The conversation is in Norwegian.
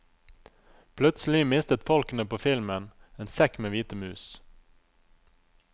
Plutselig mistet folkene på filmen en sekk med hvite mus.